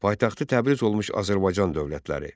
Paytaxtı Təbriz olmuş Azərbaycan dövlətləri.